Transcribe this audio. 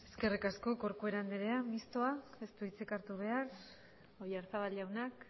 eskerrik asko corcuera anderea mistoak ez du hitzik hartu behar oyarzabal jaunak